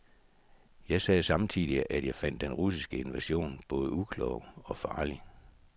Jeg sagde samtidig, at jeg fandt den russiske invasion både uklog og farlig.